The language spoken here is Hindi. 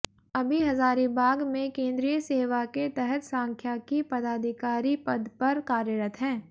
अभी हजारीबाग में केंद्रीय सेवा के तहत सांख्याकी पदाधिकारी पद पर कार्यरत हैं